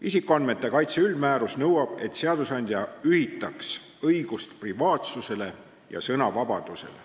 Isikuandmete kaitse üldmäärus nõuab, et seadusandja ühitaks õigust privaatsusele ja sõnavabadust.